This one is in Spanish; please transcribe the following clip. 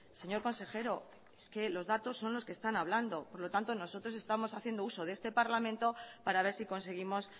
señor consejero es que los datos son los que están hablando por lo tanto nosotros estamos haciendo uso de este parlamento para ver si conseguimos